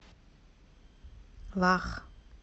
вах